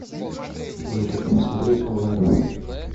джокер смотреть онлайн